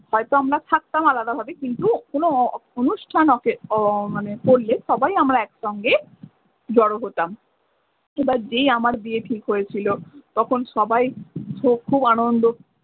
হয়তো আমরা থাকতাম আলাদা ভাবে কিন্তু কোনো অনুষ্ঠান করলে সবাই আমরা একসঙ্গে জড়ো হতাম এবার যেই আমার বিয়ে ঠিক হয়েছিল তখন সবাই খুব আনন্দ।